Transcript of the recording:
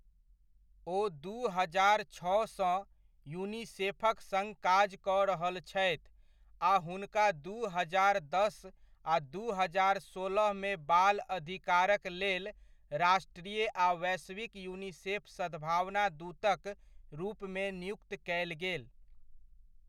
ओ दू हजार छओसँ, यूनिसेफक सङ्ग काज कऽ रहल छथि आ हुनका दू हजार दस आ दू हजार सोलहमे बाल अधिकारक लेल राष्ट्रीय आ वैश्विक यूनिसेफ सद्भावना दूतक रूपमे नियुक्त कयल गेल।